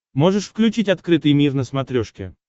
можешь включить открытый мир на смотрешке